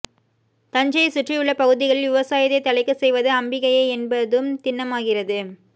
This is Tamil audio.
தஞ்சையைச் சுற்றியுள்ள பகுதிகளில் விவசாயத்தை தழைக்கச் செய்வது அம்பிகையே என்பதும் திண்ணமாகிறது